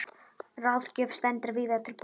Ráðgjöf stendur víða til boða.